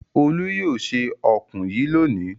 Olú yóò se ọ̀kùn yìí lónìí!